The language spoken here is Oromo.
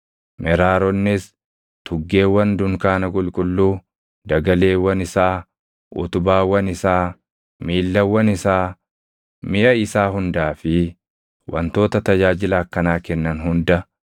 Meraaronnis tuggeewwan dunkaana qulqulluu, dagaleewwan isaa, utubaawwan isaa, miillawwan isaa, miʼa isaa hundaa fi wantoota tajaajila akkanaa kennan hunda,